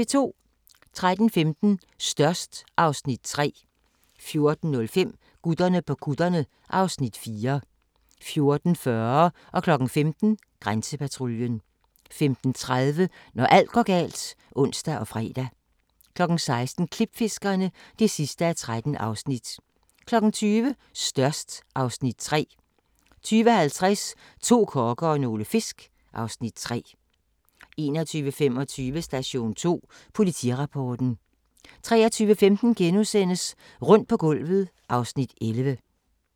13:15: Størst (Afs. 3) 14:05: Gutterne på kutterne (Afs. 4) 14:40: Grænsepatruljen 15:00: Grænsepatruljen 15:30: Når alt går galt (ons og fre) 16:00: Klipfiskerne (13:13) 20:00: Størst (Afs. 3) 20:50: To kokke og nogle fisk (Afs. 3) 21:25: Station 2: Politirapporten 23:15: Rundt på gulvet (Afs. 11)*